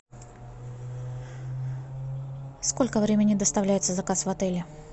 сколько времени доставляется заказ в отеле